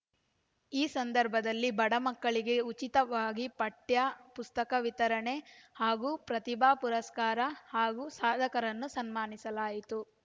ಈ ಸಂದರ್ಭದಲ್ಲಿ ಬಡ ಮಕ್ಕಳಿಗೆ ಉಚಿತವಾಗಿ ಪಠ್ಯ ಪುಸ್ತಕ ವಿತರಣೆ ಹಾಗೂ ಪ್ರತಿಭಾ ಪುರಸ್ಕಾರ ಹಾಗೂ ಸಾಧಕರನ್ನು ಸನ್ಮಾನಿಸಲಾಯಿತು